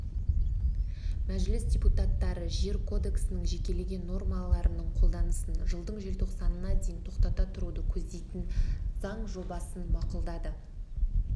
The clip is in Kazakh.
мәжіліс депутаттары жер кодексінің жекелеген нормаларының қолданысын жылдың желтоқсанына дейін тоқтата тұруды көздейтін заң жобасын мақұлдады